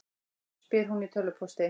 spyr hún í tölvupósti.